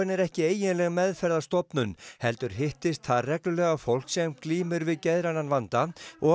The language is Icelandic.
er ekki eiginleg meðferðarstofnun heldur hittist þar reglulega fólk sem glímir við geðrænan vanda